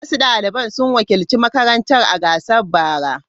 Wasu daliban sun wakilci makarantar a gasar bara.